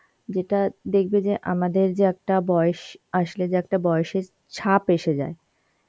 যেটা দেখবে যে আমাদের যে একটা বয়স আসলে যে একটা বয়েসের ছাপ এসে যায়,